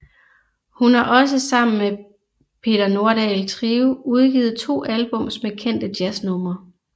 Hun har også sammen med Peter Nordahl Trio udgivet to albums med kendte jazznumre